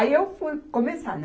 Aí eu fui começar, né.